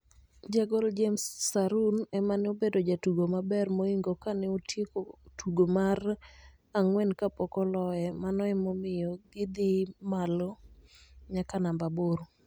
Jagol James Sarun emane obedo jatugo maber moingo kane otieko tugo mar angwen kapok oloye mano ne omiyo gi dhi malo nyaka namba aboro